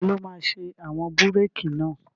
Taló máa ṣe àwọn búrèkì náà?